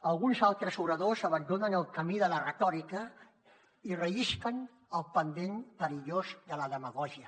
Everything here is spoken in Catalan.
alguns altres oradors abandonen el camí de la retòrica i rellisquen pel pendent perillós de la demagògia